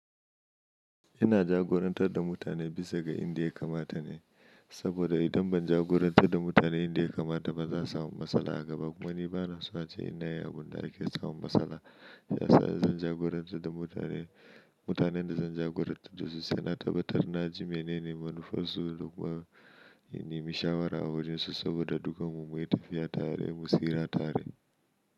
Ina jagorantar da mutane bisa ga inda ya kamata ne, saboda idan ban jagorantar da mutane inda ya kamata ba za su samu matsala a gaba. Kuma ni bana so ace nayi abinda da ake samun matsala. Ya sa zan jagorance da mutane. Mutanen da zan jagoranci su suna tabbatar na ji menene manufarsu da kuma in nemi shawara a wurin su saboda dukkan mu muna tafiya tare, mu siira tare.